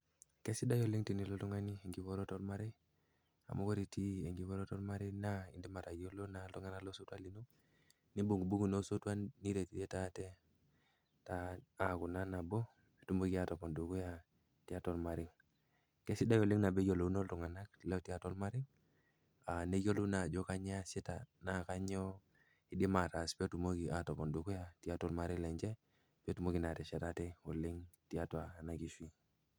Kesidai oleng tenilo oltung'ani enkipototo ormarei mauu oore itii enkipototo ormarei naa idipa atayiolo naa iltung'anak losotua linyi, neibung'ubung'u naa osotua niretirete aate naa aaku naa nabo, peyie itumoki atopon dukuya tiatua ormarei. Kesidai oleng teneyiolouno iltung'anak, lotii atua ormarei, neyiolou naa aajo kenyoo iasita naa kanyoo eidim ataas peyie etumoki atopon dukuya tiatua ormarei lenye, peyie etumoki naa ateshet aate tiatua ormarei lenye.